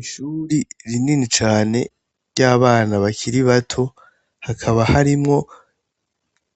Ishure rinini cane ry'abana bakiri bato ,hakaba harimwo